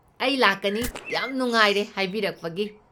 ꯑꯩ ꯂꯥꯛꯀꯅꯤ, ꯌꯥꯝ ꯅꯨꯡꯉꯥꯏꯔꯦ ꯍꯥꯏꯕꯤꯔꯛꯄꯒꯤ!